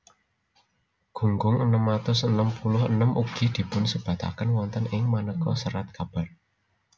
Gunggung enem atus enem puluh enem ugi dipunsebataken wonten ing manéka serat kabar